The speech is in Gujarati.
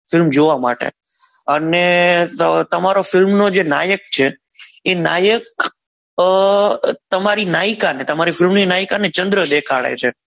film જોવા માટે અને તમારો તમારો film નું જે નાયક છે એ નાયક તમારી નાયકા ને film ની નાયકા ને ચંદ્ર દેખાડે છે.